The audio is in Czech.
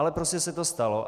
Ale prostě se to stalo.